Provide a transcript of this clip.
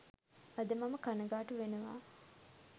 අද මම කණගාටු වෙනවා